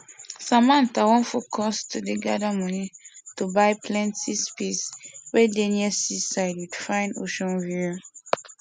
samantha wan focus to dey gather money to buy plenty space wey dey near seaside with fine ocean view